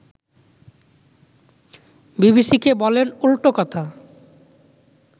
বিবিসিকে বলেন উল্টো কথা